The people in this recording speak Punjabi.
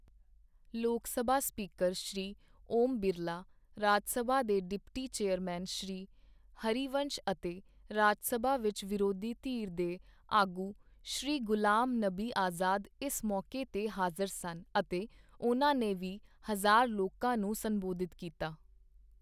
ਲੋਕਸਭਾ ਸਪੀਕਰ ਸ਼੍ਰੀ ਓਮ ਬਿਰਲਾ, ਰਾਜਸਭਾ ਦੇ ਡਿਪਟੀ ਚੇਅਰਮੈਨ ਸ਼੍ਰੀ ਹਰੀਵੰਸ਼ ਅਤੇ ਰਾਜ ਸਭਾ ਵਿੱਚ ਵਿਰੋਧੀ ਧਿਰ ਦੇ ਆਗੂ ਸ਼੍ਰੀ ਗੁਲਾਮ ਨਬੀ ਆਜ਼ਾਦ ਇਸ ਮੌਕੇ ਤੇ ਹਾਜ਼ਰ ਸਨ ਅਤੇ ਉਨ੍ਹਾਂ ਨੇ ਵੀ ਹਜ਼ਾਰ ਲੋਕਾਂ ਨੂੰ ਸੰਬੋਧਿਤ ਕੀਤਾ।